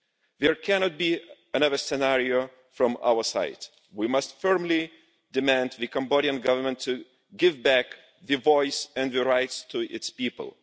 There cannot be another scenario from our side we must firmly demand that the Cambodian Government give back the voice and the rights of its people.